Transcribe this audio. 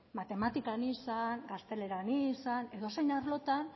matematikan izan gazteleran izan edozein arlotan